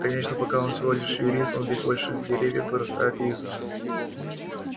конечно пока он всего лишь юрист он ведь большие деревья вырастают из